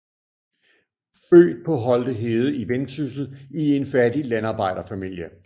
Født på Holte Hede i Vendsyssel i en fattig landarbejderfamilie